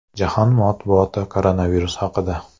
Jahon matbuoti koronavirus haqida.